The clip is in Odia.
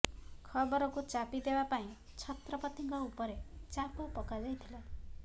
ଖବରକୁ ଚାପି ଦେବା ପାଇଁ ଛତ୍ରପତିଙ୍କ ଉପରେ ଚାପ ପକାଯାଇଥିଲା